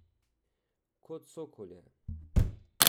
Kot sokol je.